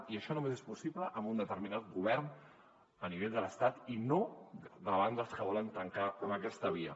i això només és possible amb un determinat govern a nivell de l’estat i no davant dels que volen tancar amb aquesta via